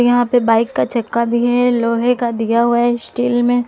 यहां पे बाइक का चक्का भी है लोहे का दिया हुआ है स्टील में--